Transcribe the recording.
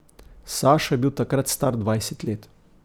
Sašo je bil takrat star dvajset let.